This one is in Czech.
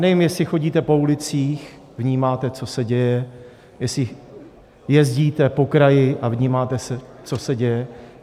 Nevím, jestli chodíte po ulicích, vnímáte, co se děje, jestli jezdíte po kraji a vnímáte, co se děje.